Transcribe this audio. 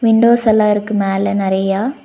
Windows எல்லா இருக்கு மேல நறையா.